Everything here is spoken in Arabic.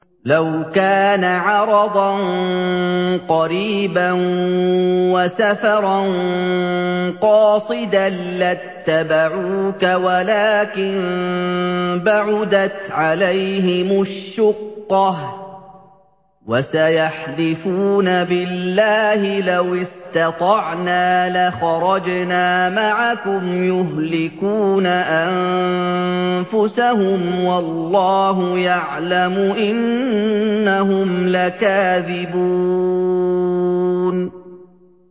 لَوْ كَانَ عَرَضًا قَرِيبًا وَسَفَرًا قَاصِدًا لَّاتَّبَعُوكَ وَلَٰكِن بَعُدَتْ عَلَيْهِمُ الشُّقَّةُ ۚ وَسَيَحْلِفُونَ بِاللَّهِ لَوِ اسْتَطَعْنَا لَخَرَجْنَا مَعَكُمْ يُهْلِكُونَ أَنفُسَهُمْ وَاللَّهُ يَعْلَمُ إِنَّهُمْ لَكَاذِبُونَ